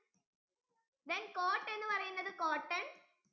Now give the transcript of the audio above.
then coat എന്നുപറയുന്നത് cotton